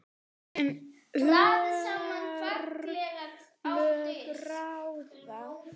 En örlög ráða.